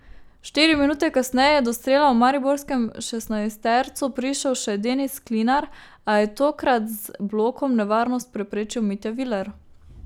Štiri minute kasneje je do strela v mariborskem šestnajstercu prišel še Denis Klinar, a je tokrat z blokom nevarnost preprečil Mitja Viler.